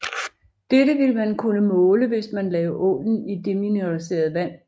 Dette ville man kunne måle hvis man lagde ålen i demineraliseret vand